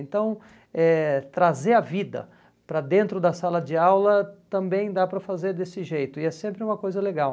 Então, eh trazer a vida para dentro da sala de aula também dá para fazer desse jeito e é sempre uma coisa legal.